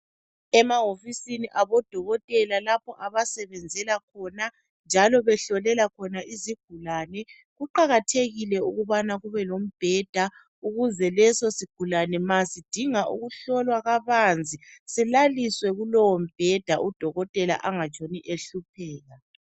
Emawofisini abodokotela lapho abasebenzela khona njalo behlolela khona izigulane kuqakathekile ukubana kube lombheda ukuze leso sigulane masidinga ukuhlolwa kabanzi silaliswe kulowo mbheda udokotela angatshoni ehlupheka